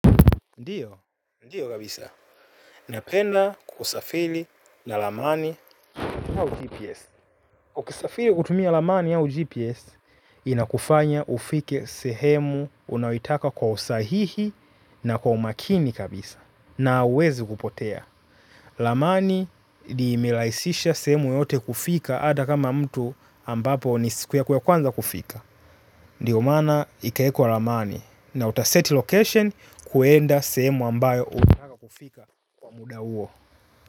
Ndiyo, ndiyo kabisa, napenda kusafiri na ramani au GPS ukisafiri kutumia ramani au GPS inakufanya ufike sehemu unayoitaka kwa usahihi na kwa umakini kabisa na huwezi kupotea. Ramani imerahisisha sehemu yoyote kufika hata kama mtu ambapo ni siku yako ya kwanza kufika. Ndiyo maana ikawekwa ramani na utaset location kwenda sehemu ambayo unataka kufika kwa muda huo.